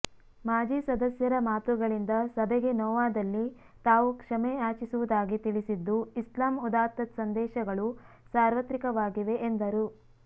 ಮಾಜಿ ಸದಸ್ಯರ ಮಾತುಗಳಿಂದ ಸಭೆಗೆ ನೋವಾದಲ್ಲಿ ತಾವು ಕ್ಷಮೇ ಯಾಚಿಸುವುದಾಗಿ ತಿಳಿಸಿದ್ದು ಇಸ್ಲಾಮ್ ಉದ್ದಾತ್ತ ಸಂದೇಶಗಳು ಸಾರ್ವತ್ರಿಕವಾಗಿವೆ ಎಂದರು